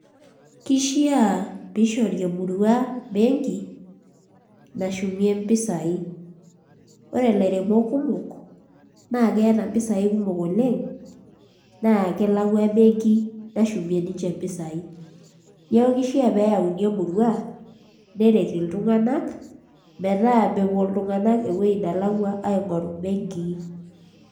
Kishiaa piishori emurua benki nashumie mpisaai ore ilairemok kumok naa keeta mpisaai kumok oleng' naa kelakua benki nashumie ninche mpisaai neeku kishiaa pee eyauni emurua neyau iltunganak, metaa mepuo iltunganak ewueji nelakua aing'oru mbenkii.